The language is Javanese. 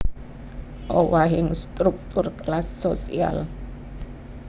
Owahing struktur kelas sosial